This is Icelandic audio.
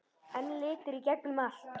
Einn litur í gegnum allt.